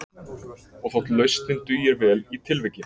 Og þótt lausnin dugir vel í tilviki